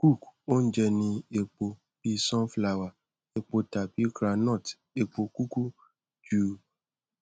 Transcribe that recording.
cook ounje ni epo bi sunflower epo tabi groundnut epo kuku ju